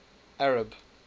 arab